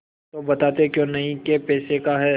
तो बताते क्यों नहीं कै पैसे का है